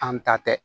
An ta tɛ